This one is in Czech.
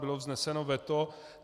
Bylo vzneseno veto.